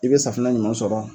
I bɛ safinɛ ɲuman sɔrɔ